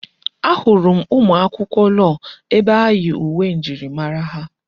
Ahụrụ m ụmụ akwụkwọ lọọ ebe ha yi uwe njirimara ha.